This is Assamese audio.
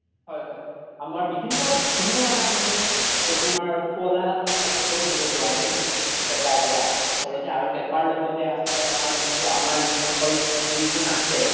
হয় হয় আমাৰ বিভিন্ন ধুনিয়া আমাৰ মানে সোৱলা শব্দ শুনিব পাৰা যাই পেপাৰ পৰা আচ্লতে আৰু পেপাৰ লগ্তে আছে আমাৰ চোৱা আমাৰ যোন সকল বিহু নাচে